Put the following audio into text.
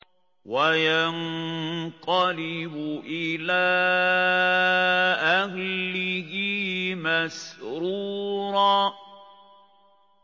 وَيَنقَلِبُ إِلَىٰ أَهْلِهِ مَسْرُورًا